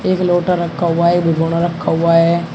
एक लोटा रखा हुआ है एक भगोना रखा हुआ है।